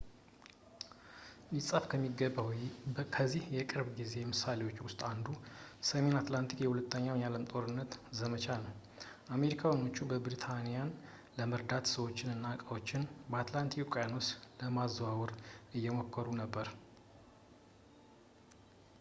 ሊጻፍ የሚገባው ከዚህ የቅርብ ጊዜ ምሳሌዎች ውስጥ አንዱ የሰሜን አትላንቲክ የሁለተኛው የዓለም ጦርነት ዘመቻ ነው አሜሪካኖቹ ብሪታንያን ለመርዳት ሰዎችን እና ዕቃዎችን በአትላንቲክ ውቅያኖስ ለማዘዋወር እየሞከሩ ነበር